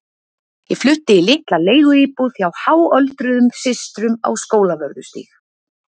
Ég flutti í litla leiguíbúð hjá háöldruðum systrum á Skólavörðu stíg.